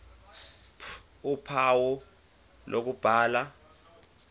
ph uphawu lokubhala